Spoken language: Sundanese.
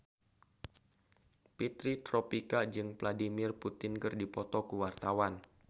Fitri Tropika jeung Vladimir Putin keur dipoto ku wartawan